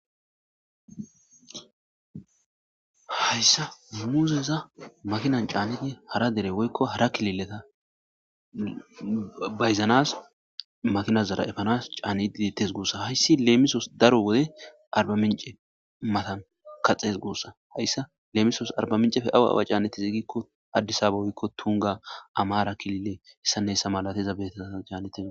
hayssa muuzeza makinan caanneti hara dere woykko hara kilileta bayzanas makinas zara efanas caanididtes guussa hayssi leemisoos daro wode arba mince matan kaxees goossa hayssa lemisos arba mincefe awa awa caanneti ziigikko addisaba woykko tunga amaara kilile hessanne hessa malateza beetata caannetina